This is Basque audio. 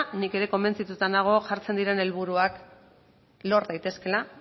nik ere konbentzituta nago jartzen diren helburuak lor daitezkeela